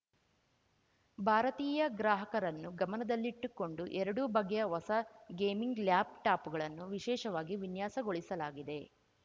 ಭಾರತೀಯ ಗ್ರಾಹಕರನ್ನು ಗಮನದಲ್ಲಿಟ್ಟುಕೊಂಡು ಎರಡೂ ಬಗೆಯ ಹೊಸ ಗೇಮಿಂಗ್‌ ಲ್ಯಾಪ್‌ಟಾಪ್‌ಗಳನ್ನು ವಿಶೇಷವಾಗಿ ವಿನ್ಯಾಸಗೊಳಿಸಲಾಗಿದೆ